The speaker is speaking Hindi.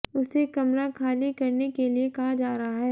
उसे कमरा खाली करने के लिए कहा जा रहा है